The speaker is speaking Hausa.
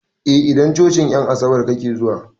A idan cocin en asabar kake zuwa